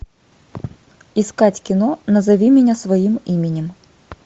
искать кино назови меня своим именем